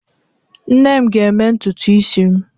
Nne m ga-eme ntutu isi m.